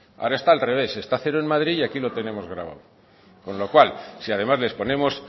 ahora está al revés está a cero en madrid y aquí lo tenemos gravado con lo cual si además les ponemos